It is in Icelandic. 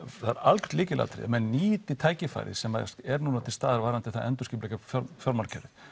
það er algjört lykilatriði að menn nýti tækifærið sem er nú til staðar varðandi að endurskipuleggja fjármálakerfið